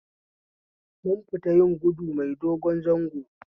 Mun fita yin gudu mai dogon zango